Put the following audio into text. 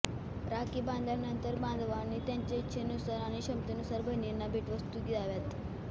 राखी बांधल्यानंतर बांधवांनी त्यांच्या इच्छेनुसार आणि क्षमतेनुसार बहिणींना भेटवस्तू द्याव्यात